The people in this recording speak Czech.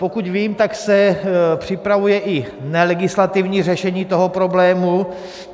Pokud vím, tak se připravuje i nelegislativní řešení toho problému.